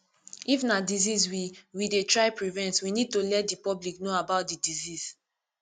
if na disease we we dey try prevent we need to let di public know about di disease